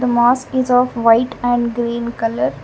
mosque is of white and green colour.